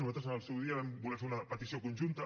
nosaltres en el seu dia vam voler fer una petició conjunta